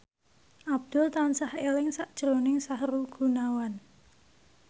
Abdul tansah eling sakjroning Sahrul Gunawan